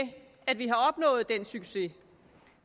at vi har opnået den succes